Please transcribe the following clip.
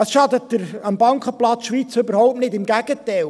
Es schadet dem Bankenplatz Schweiz überhaupt nicht, im Gegenteil: